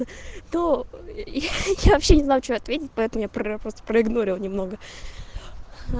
тоо я я вообще не знаю что ответить поэтому я просто про проигнорила немного